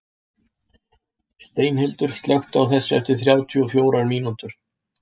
Steinhildur, slökktu á þessu eftir þrjátíu og fjórar mínútur.